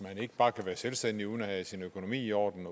man ikke bare kan være selvstændig uden at have sin økonomi i orden